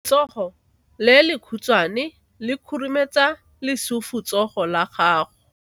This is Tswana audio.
Letsogo le lekhutshwane le khurumetsa lesufutsogo la gago.